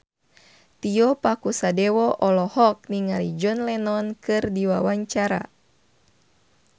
Tio Pakusadewo olohok ningali John Lennon keur diwawancara